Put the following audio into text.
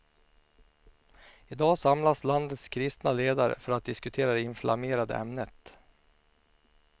I dag samlas landets kristna ledare för att diskutera det inflammerade ämnet.